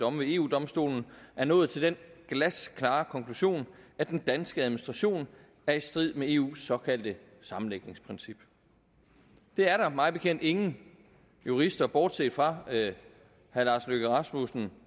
domme ved eu domstolen er nået til den glasklare konklusion at den danske administration er i strid med eus såkaldte sammenlægningsprincip det er der mig bekendt ingen jurister bortset fra herre lars løkke rasmussen